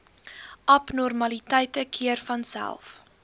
abnormaliteite keer vanself